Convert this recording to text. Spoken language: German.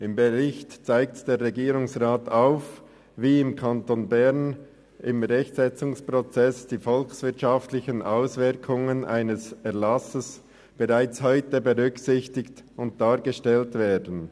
Im Bericht zeigt der Regierungsrat auf, wie im Kanton Bern im Rechtsetzungsprozess die volkswirtschaftlichen Auswirkungen eines Erlasses bereits heute berücksichtigt und dargestellt werden.